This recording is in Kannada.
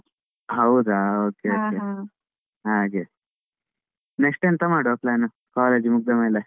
ಹೌದಾ okay okay next ಎಂತ ಮಾಡುವ plan college ಮುಗ್ದ ಮೇಲೆ?